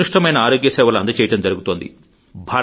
ఉత్కృష్టమైన ఆరోగ్యసేవలు అందజేయడం జరుగుతోంది